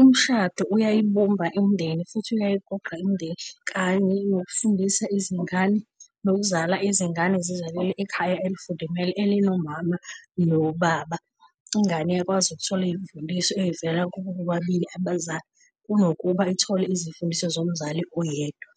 umshado uyayibumba imindeni futhi uyayiqoqa imindeni kanye nokufundisa izingane, nokuzala izingane zizalelwe ekhaya elifudumele elinomama nobaba. Ingane iyakwazi ukuthola izifundiso ezivela kubo bobabili abazali, kunokuba ithole izimfundiso zomzali oyedwa.